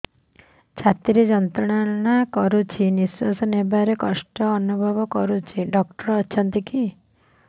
ଛାତି ଯନ୍ତ୍ରଣା କରୁଛି ନିଶ୍ୱାସ ନେବାରେ କଷ୍ଟ ଅନୁଭବ କରୁଛି